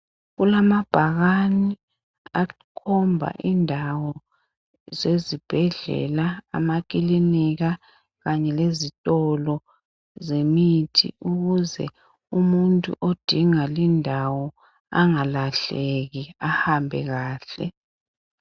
Kulamabhakani akhomba indawo zezibhedlela amakilinika kanye lezitolo zemithi ukuze umuntu odinga lindawo angalahleki ahambe kahle.